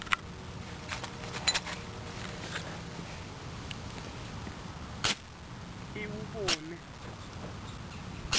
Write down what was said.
iwubone